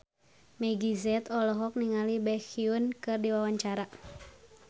Meggie Z olohok ningali Baekhyun keur diwawancara